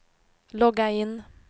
logga in